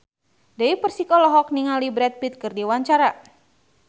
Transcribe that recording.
Dewi Persik olohok ningali Brad Pitt keur diwawancara